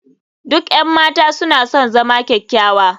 Duk 'yan mata suna son zama kyakkyawa.